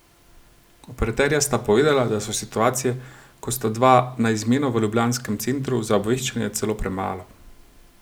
Operaterja sta povedala, da so situacije, ko sta dva na izmeno v ljubljanskem centru za obveščanje celo premalo.